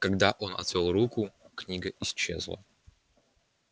когда он отвёл руку книга исчезла